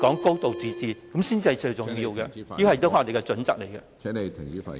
"高度自治"，這才是最重要的，這也是我們的準則。